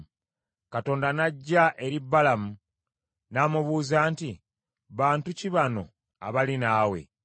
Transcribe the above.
Katonda n’ajja eri Balamu n’amubuuza nti, “Bantu ki bano abali naawe?”